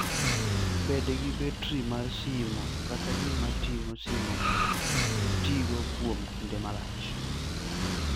Bed gi betri mar simo kata gima ting'o simo mondo itigo kuom kinde malach.